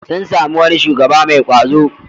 Sun sami wani shugaba mai ƙwazo.